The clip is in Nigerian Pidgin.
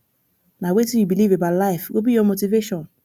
nah wetin you believe about life go be your motivation